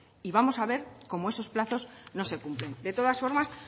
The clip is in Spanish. y vamos a ver cómo esos plazos no se cumplen de todas formas